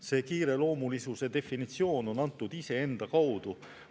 See kiireloomulisuse definitsioon on antud iseenda kaudu.